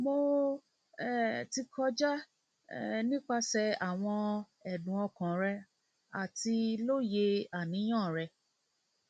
mo um ti kọja um nipasẹ awọn ẹdun ọkan rẹ ati loye aniyan rẹ